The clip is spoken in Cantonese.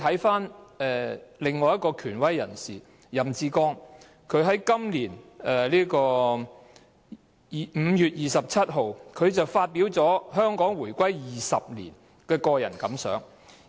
此外，權威人士任志剛在今年5月27日對香港回歸20年發表個人感想......